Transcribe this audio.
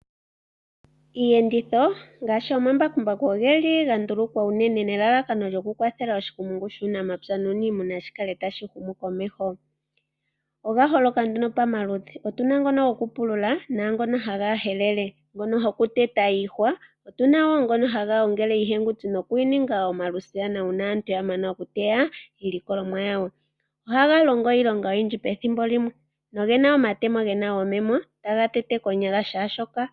Iiyenditho ngaashi omambakumbaku oga ndulukwa po unene nelalakano okukwathela oshikumungu shuunamapya nuunimuna shi kale tashi humu komeho. Oga holoka nduno pamaludhi. Otu na ngono gokupulula naangoka haga helele, ngono gokuteta iihwa, otu na wo ngono haga gongele iihenguni nokuyi ninga omalusiyana uuna aantu ya mana okuteya iilikolomwa yawo. Ohaga longo iilonga oyindji pethimbo limwe noge na omatemo ge na omayego taga tete konyala kehe shimwe.